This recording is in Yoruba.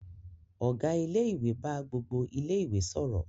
Ọ̀gá ilé-ìwé bá gbogbo ilé-ìwé sọ̀rọ̀.